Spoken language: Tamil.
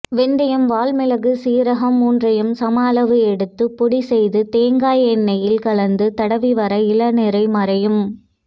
வெந்தயம் வால்மிளகு சீரகம் மூன்றையும் சம அளவு எடுத்து பொடி செய்து தேங்ங்காய் எண்ணெயில் கலந்து தடவிவர இளநரை மறையும்